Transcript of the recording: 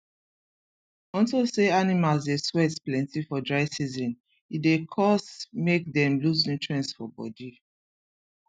unto say animals dey sweat plenty for dry season e dey cause make dem loose nutrients for body